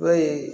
Dɔw ye